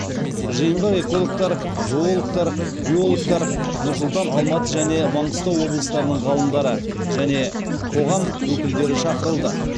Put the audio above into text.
жиынға экологтар зоологтар биологтар нұр сұлтан алматы және маңғыстау облыстарының ғалымдары және қоғам өкілдері шақырылды